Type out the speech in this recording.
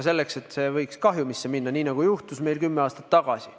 See võib kahjumisse minna, nii nagu juhtus meil kümme aastat tagasi.